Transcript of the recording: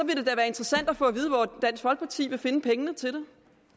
vil det da være interessant at få at vide hvor dansk folkeparti vil finde pengene til